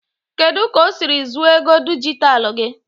kedu ka o siri zuru ego dijitalụ gị?